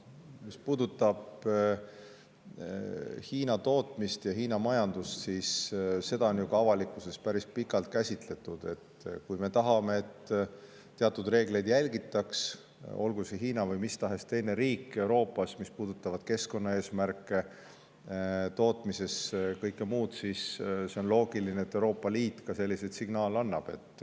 Mis puudutab Hiina tootmist ja majandust, siis seda on ju ka avalikkuses päris pikalt käsitletud, et kui me tahame, et järgitaks teatud reegleid, mis puudutavad tootmise keskkonnaeesmärke ja kõike muud – olgu see Hiina või mis tahes teine Euroopa riik –, siis on see loogiline, et Euroopa Liit ka selliseid signaale annab.